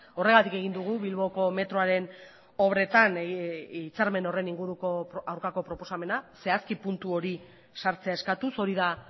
horregatik egin dugu bilboko metroaren obretan hitzarmen horren inguruko aurkako proposamena zehazki puntu hori sartzea eskatuz hori da